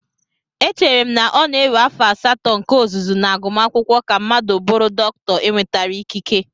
Echere m na ọ na-ewe afọ asatọ nke ọzụzụ na agumakwụkwọ ka mmadụ bụrụ dọkịta enwetara ikike